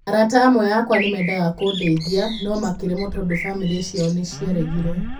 'Arata amwe akwa nĩ meendaga kũndeithia, no makĩremwo tondũ famĩlĩ ciao nĩ ciaregire.